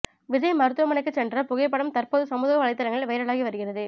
விஜய் மருத்துவமனைக்குச் சென்ற புகைப்படம் தற்போது சமூக வலைதளங்களில் வைரலாகி வருகிறது